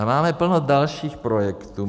A máme plno dalších projektů.